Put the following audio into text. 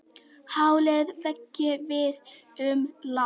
Hálir vegir víða um land